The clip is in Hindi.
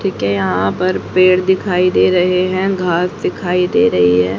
के यहां पर पेड़ दिखाई दे रहे हैं घास दिखाई दे रही है।